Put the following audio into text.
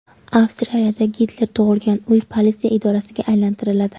Avstriyada Gitler tug‘ilgan uy politsiya idorasiga aylantiriladi .